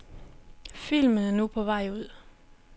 Filmen er nu på vej ud.